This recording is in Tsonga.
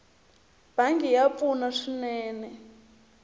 bangi ya pfuna swinene